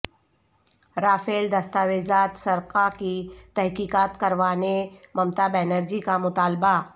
Rafale دستاویزات سرقہ کی تحقیقات کروانے ممتابنرجی کا مطالبہ